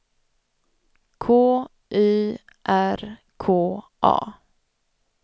K Y R K A